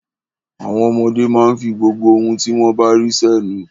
Àwọn ọmọdé máa ń fi gbogbo ohun tí wọ́n bá rí sẹ́nu.